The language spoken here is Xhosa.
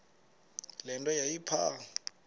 le nto yayipha